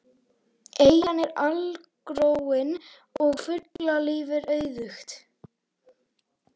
Eyjan er algróin og fuglalíf er auðugt.